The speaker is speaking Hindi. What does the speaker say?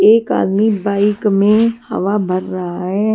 एक आदमी बाइक में हवा भर रहा है।